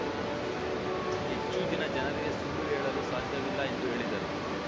ಹೆಚ್ಚು ದಿನ ಜನರಿಗೆ ಸುಳ್ಳು ಹೇಳಲು ಸಾಧ್ಯವಿಲ್ಲ ಎಂದು ಹೇಳಿದರು